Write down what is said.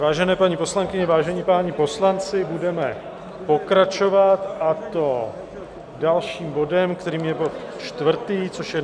Vážené paní poslankyně, vážení páni poslanci, budeme pokračovat, a to dalším bodem, kterým je bod čtvrtý, což je